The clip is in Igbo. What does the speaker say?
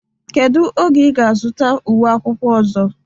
Kedu oge ị ga-azụta uwe akwụkwọ ọzọ?